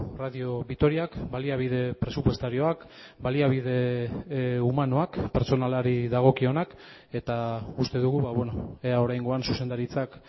radio vitoriak baliabide presupuestarioak baliabide humanoak pertsonalari dagokionak eta uste dugu ea oraingoan zuzendaritzak